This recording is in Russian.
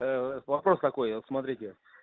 вопрос какой вот смотрите